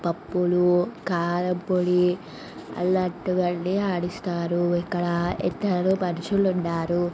పప్పులు కారం పొడి అల్లాటివి అని ఆడిస్తారు. ఇక్కడ ఇద్దరు మనుషులు ఉన్నారు.